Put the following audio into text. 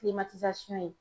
kilimatizasɔn ye